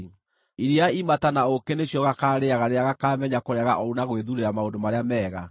Iria imata na ũũkĩ nĩcio gakarĩĩaga rĩrĩa gakaamenya kũrega ũũru na gwĩthuurĩra maũndũ marĩa mega.